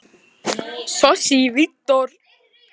eldhúsinu voru tuldruð spádómsorð og galdraþulur.